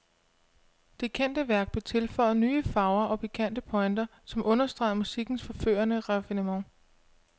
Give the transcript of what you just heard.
Det kendte værk blev tilføjet nye farver og pikante pointer, som understregede musikkens forførende raffinement.